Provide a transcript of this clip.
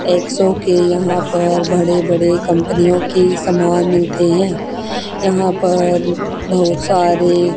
एक्सो के यहां पर बड़े बड़े कंपनियों की सामान मिलते हैं यहां पर बहुत सारे--